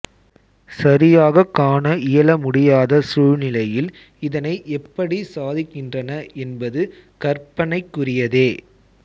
சரியாகக் காண இயலமுடியாத சூழ்நிலையில் இதனை எப்படி சாதிக்கின்றன என்பது கற்பனைக்குரியதே